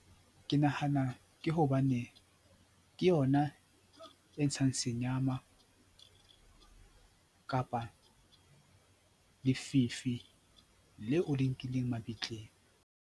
Ke nahana ke hobane ke yona e ntshang senyama kapa lefifi leo o le nkileng mabitleng.